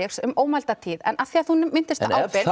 um ómælda tíð en af því þú minntist